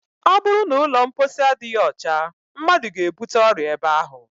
Ọ bụrụ na ụlọ mposi adịghị ọcha, mmadụ ga- ebute ọrịa ebe ahụ